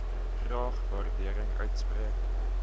graag waardering uitspreek